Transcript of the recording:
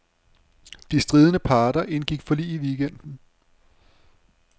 De stridende parter indgik forlig i weekenden.